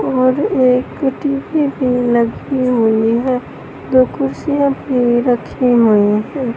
और एक टी_वी भी लगी हुई है। दो कुर्सियां भी रखी हुई हैं।